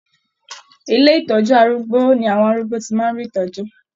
Ilé ìtọjú arúgbó ni àwọn arúgbó tí màá n rí ìtọjú.